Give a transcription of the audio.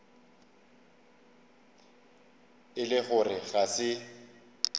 e le gore ga se